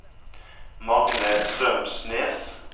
Magne Strømsnes